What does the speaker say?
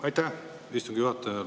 Aitäh, istungi juhataja!